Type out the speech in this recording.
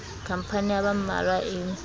khampani ya ba mmalwa e